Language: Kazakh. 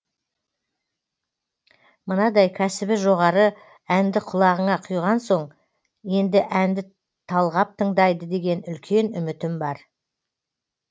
мынадай кәсіби жоғары әнді құлағына құйған соң енді әнді талғап тыңдайтын үлкен үмітім бар